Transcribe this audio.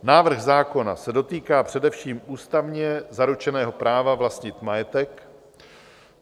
Návrh zákona se dotýká především ústavně zaručeného práva vlastnit majetek.